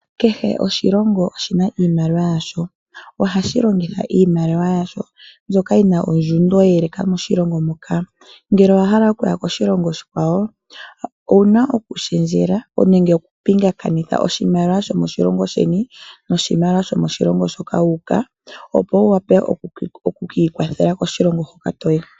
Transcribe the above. Kehe oshilongo oshi na iimaliwa yasho. Ohashi longitha iimaliwa yasho mbyoka yi na ondjundo ye eleka moshilongo moka. Ngele owa hala oku ya koshilongo oshikwawo owu na okushendjela nenge okupingakanitha oshimaliwa shomoshilongo sheni noshimaliwa shomoshilongo shoka wu uka, opo wu wape oku ka ikwathela koshilongo hoka to yi.